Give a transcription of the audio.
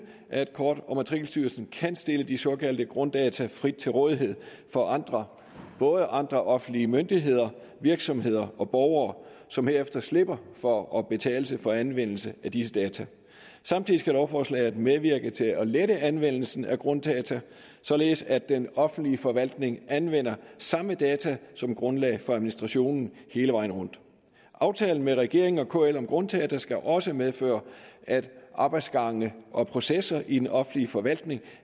at kort og matrikelstyrelsen kan stille de såkaldte grunddata frit til rådighed for andre både andre offentlige myndigheder virksomheder og borgere som herefter slipper for at betale for anvendelse af disse data samtidig skal lovforslaget medvirke til at lette anvendelsen af grunddata således at den offentlige forvaltning anvender samme data som grundlag for administrationen hele vejen rundt aftalen mellem regeringen og kl om grunddata skal også medføre at arbejdsgange og processer i den offentlige forvaltning